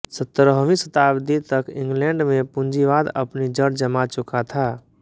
सतरहवीं शताब्दी तक इंग्लेंड में पूंजीवाद अपनी जड़ जमा चुका था